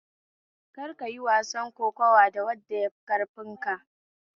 Kar kayi wasar kokuwa da wanda yafika ƙarfi